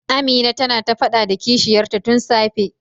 Amina tana ta fada da kishiyar ta tun safe.